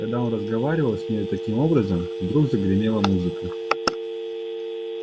когда он разговаривал с нею таким образом вдруг загремела музыка